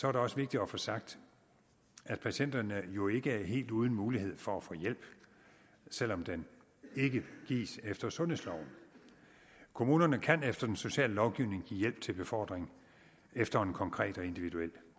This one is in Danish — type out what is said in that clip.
er det også vigtigt at få sagt at patienterne jo ikke er helt uden mulighed for at få hjælp selv om den ikke gives efter sundhedsloven kommunerne kan efter den sociale lovgivning give hjælp til befordring efter en konkret og individuel